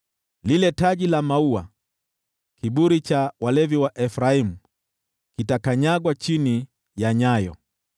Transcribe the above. Lile taji la maua, kiburi cha walevi cha Efraimu, kitakanyagwa chini ya nyayo.